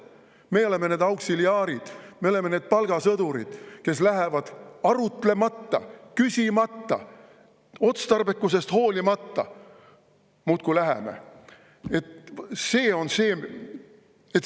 Me oleme need auksiliaarid, me oleme need palgasõdurid, kes lähevad arutlemata, küsimata, otstarbekusest hoolimata – muudkui läheme!